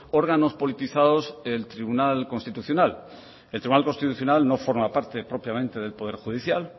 órganos politizados el tribunal constitucional el tribunal constitucional no forma parte propiamente del poder judicial